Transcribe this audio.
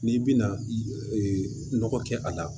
N'i bina ee nɔgɔ kɛ a la